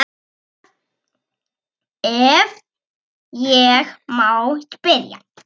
Hvar, ef ég má spyrja?